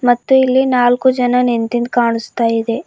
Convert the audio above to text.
ಮತ್ತು ಇಲ್ಲಿ ನಾಲ್ಕು ಜನ ನಿಂತಿದ್ ಕಾಣಿಸ್ತಾ ಇದೆ.